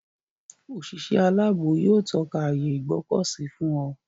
Òṣìṣẹ́ aláàbò yóò tọ́ka ààyè Ìgbọ̀kọ̀sí fún ọ.